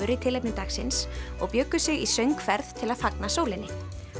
í tilefni dagsins og bjuggu sig í söngferð til að fagna sólinni